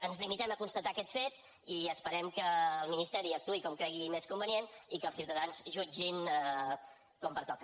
ens limitem a constatar aquest fet i esperem que el ministeri actuï com cregui més convenient i que els ciutadans jutgin com pertoca